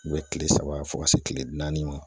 U bɛ kile saba fo ka se kile naani ma.